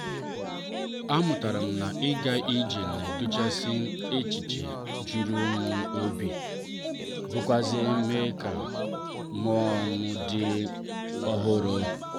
a mụtara m na -ịga ije na-edochasi echiche jụrụ m n'obi biakwazie mee ka mụọ m dị ọhụrụ.